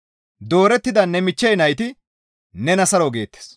Doorettida ne michchey nayti nena saro geettes.